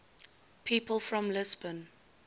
people from lisbon